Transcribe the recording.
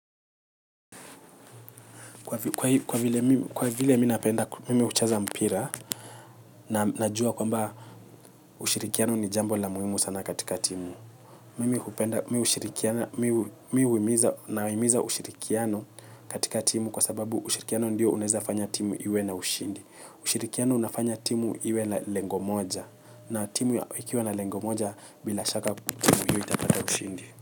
Kwa vile mimi napenda mimi kucheza mpira na najua kwamba ushirikiano ni jambo la muhimu sana katika timu. Mimi hupenda mimi hushirikiana mimi huimiza nawahimiza ushirikiano katika timu kwa sababu ushirikiano ndio unaweza fanya timu iwe na ushindi. Ushirikiano unafanya timu iwe na lengo moja na timu ikiwa na lengo moja bila shaka timu hiyo itapata ushindi.